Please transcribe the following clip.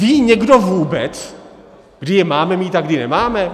Ví někdo vůbec, kdy je máme mít a kdy nemáme?